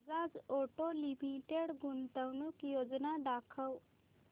Bajaj auto limited गुंतवणूक योजना दाखव